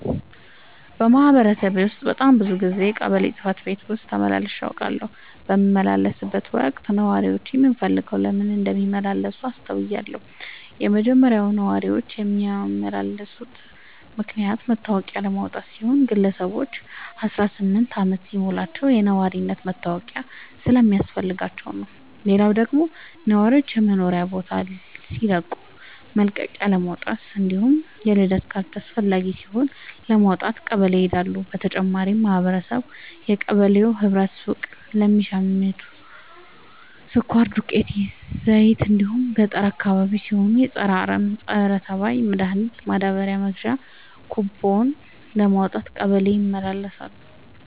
በማህበረሰቤ ውስጥ በጣም ብዙ ጊዜ ቀበሌ ጽህፈት ቤት ተመላልሼ አውቃለሁ። በምመላለስበትም ወቅት ነዋሪዎች ምን ፈልገው ለምን እንደሚመላለሱ አስተውያለሁ የመጀመሪያው ነዋሪዎች የሚመላለሱበት ምክንያት መታወቂያ ለማውጣት ሲሆን ግለሰቦች አስራስምንት አመት ሲሞላቸው የነዋሪነት መታወቂያ ስለሚያስፈልጋቸው ነው። ሌላው ደግሞ ነዋሪዎች የመኖሪያ ቦታ ሲቀይሩ መልቀቂያለማውጣት እንዲሁም የልደት ካርድ አስፈላጊ ሲሆን ለማውጣት ቀበሌ ይሄዳሉ። በተጨማሪም ማህበረቡ የቀበሌው ህብረት ሱቅ ለሚሸተው ስኳር፣ ዱቄት፣ ዘይት እንዲሁም ገጠር አካባቢ ሲሆን የፀረ አረም፣ ፀረተባይ መድሀኒት ማዳበሪያ መግዣ ኩቦን ለማውጣት ቀበሌ ይመላለሳሉ።